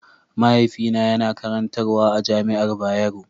Mahaifina yana karantarwa a jami'ar Bayero.